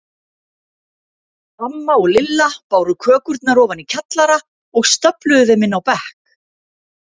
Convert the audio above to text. Amma og Lilla báru kökurnar ofan í kjallara og stöfluðu þeim inn á bekk.